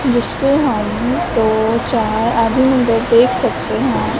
जिसपे हम दो चार आधी नंबर देख सकते हैं।